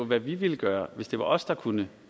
hvad vi ville gøre hvis det var os der kunne